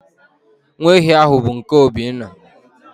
Nwa ehi ahụ bụ nke Obinna